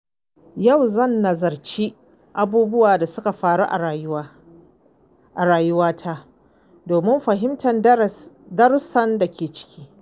Yau zan nazarci abubuwan da suka faru a rayuwata domin fahimtar darussan da ke ciki.